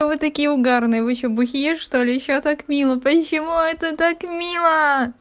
вы такие угарные вы ещё бухие что ли ещё так мило почему это так мило